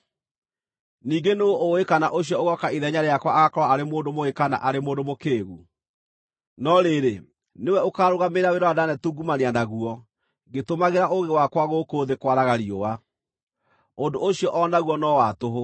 Ningĩ nũũ ũũĩ kana ũcio ũgooka ithenya rĩakwa agaakorwo arĩ mũndũ mũũgĩ kana arĩ mũndũ mũkĩĩgu? No rĩrĩ, nĩwe ũkaarũgamĩrĩra wĩra ũrĩa ndaanetungumania naguo ngĩtũmagĩra ũũgĩ wakwa gũkũ thĩ kwaraga riũa. Ũndũ ũcio o naguo no wa tũhũ.